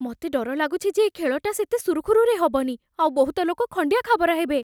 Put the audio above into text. ମତେ ଡର ଲାଗୁଛି ଯେ ଏ ଖେଳଟା ସେତେ ସୁରୁଖୁରୁରେ ହବନି, ଆଉ ବହୁତ ଲୋକ ଖଣ୍ଡିଆ ଖାବରା ହେବେ ।